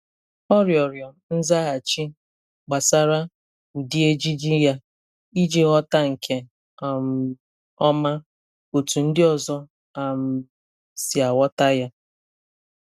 Ọ rịọrọ nzaghachi gbasara ụdị ejiji ya iji ghọta nke um ọma otú ndị ọzọ um si aghọta ya.